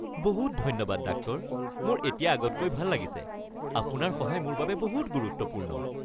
বহুত ধন্যবাদ ডাক্তৰ! মোৰ এতিয়া আগতকৈ ভাল লাগিছে। আপোনাৰ সহায় মোৰ বাবে বহুত গুৰুত্বপূৰ্ণ।